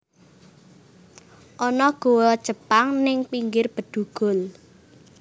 Ono goa Jepang ning pinggir Bedugul